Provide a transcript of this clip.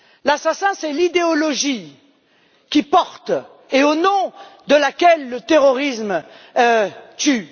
L'assassin, c'est l'idéologie qu'il porte et au nom de laquelle le terrorisme tue.